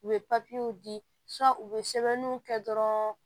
U bɛ papiyew di u bɛ sɛbɛnniw kɛ dɔrɔn